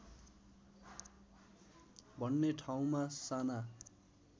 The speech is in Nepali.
भन्ने ठाउँमा साना